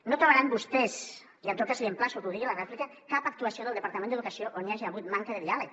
no trobaran vostès i en tot cas l’emplaço que ho digui a la rèplica cap actuació del departament d’educació on hi hagi hagut manca de diàleg